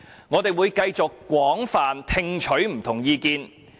我們會繼續廣泛聽取不同的意見。